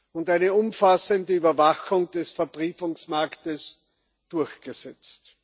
und eine umfassende Überwachung des Verbriefungsmarkts durchgesetzt.